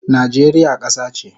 Najeriya kasa che